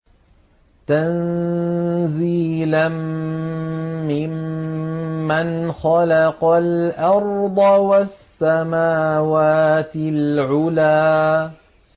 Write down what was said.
تَنزِيلًا مِّمَّنْ خَلَقَ الْأَرْضَ وَالسَّمَاوَاتِ الْعُلَى